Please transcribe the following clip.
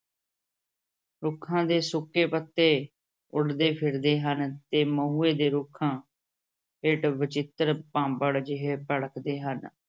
ਰੁੱਖਾਂ ਦੇ ਸੁੱਕੇ ਪੱਤੇ ਉੱਡਦੇ ਫਿਰਦੇ ਹਨ ਤੇ ਮਹੂਏ ਦੇ ਰੁੱਖਾਂ ਹੇਠ ਵਚਿੱਤਰ ਭਾਂਬੜ ਜਿਹੇ ਭੜਕਦੇ ਹਨ।